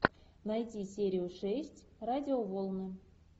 найти серию шесть радиоволны